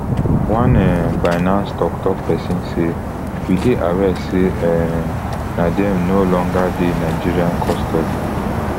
one um binance toktok pesin say we dey aware say um nadeem no longer dey nigerian custody